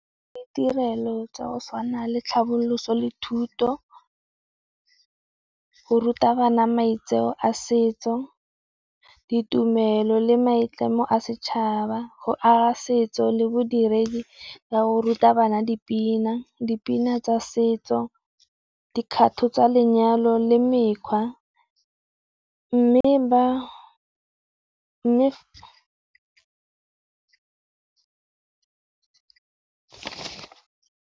Ditirelo tsa go tshwana le tlhaboloso le thuto, go ruta bana maitseo a setso, ditumelo le maitlamo a setšhaba, go aga setso le bodiredi ka go ruta bana dipina, dipina tsa setso, dikgato tsa lenyalo le mekgwa. Mme ba.